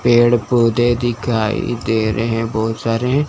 पेड़ पौधे दिखाई दे रहे हैं बहुत सारे।